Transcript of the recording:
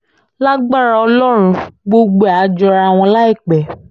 lágbára ọlọ́run gbogbo ẹ̀ áà jọra wọn láìpẹ́